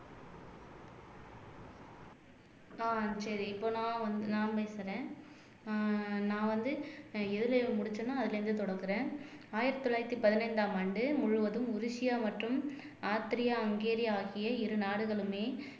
ஆஹ் சரி இப்ப நான் வந்து நான் பேசுறேன் ஆஹ் நான் வந்து எதுல முடிச்சேனோ அதுல இருந்து தொடங்குறேன் ஆயிரத்தி தொள்ளாயிரத்தி பதினஞ்சாம் ஆண்டு முழுவதும் உருசியா மற்றும் ஆஸ்தேரியா ஹங்கேரி ஆகிய இரு நாடுகளுமே